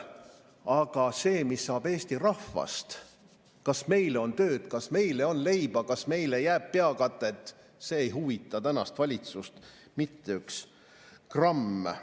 Aga see, mis saab Eesti rahvast, kas meile on tööd, kas meile on leiba, kas meile jääb peavarju – see ei huvita tänast valitsust mitte üks gramm.